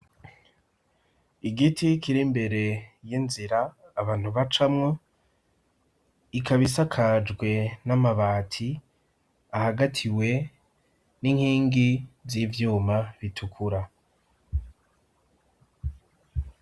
Igiti kir'imbere y'inzira abantu bacamwo ikaba isakajwe n'amabati ahagatiwe n'inkingi z'ivyuma bitukura.